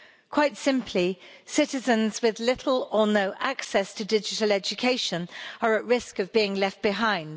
Quite simply, citizens with little or no access to digital education are at risk of being left behind.